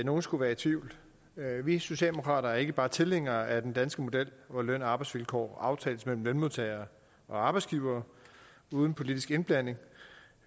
nogen skulle være i tvivl vi socialdemokrater er ikke bare tilhængere af den danske model hvor løn og arbejdsvilkår aftales mellem lønmodtagere og arbejdsgivere uden politisk indblanding